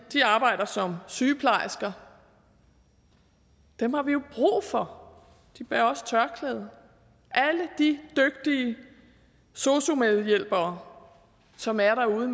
arbejder som sygeplejersker dem har vi jo brug for de bærer også tørklæde alle de dygtige sosu medhjælpere som er derude